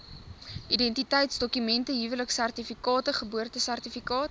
identiteitsdokument huweliksertifikaat geboortesertifikaat